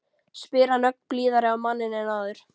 spyr hann ögn blíðari á manninn en áður.